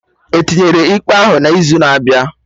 Etinyere ikpe ahụ n'izu na-abịa